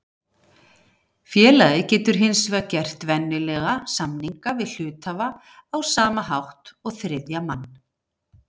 Félagið getur hins vegar gert venjulega samninga við hluthafana á sama hátt og þriðja mann.